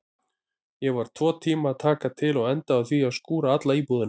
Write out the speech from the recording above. Ég var tvo tíma að taka til og endaði á því að skúra alla íbúðina.